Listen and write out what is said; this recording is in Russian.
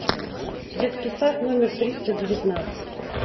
детский сад номер триста девятнадцать